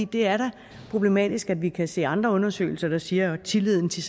det er da problematisk at vi kan se andre undersøgelser der siger at tilliden til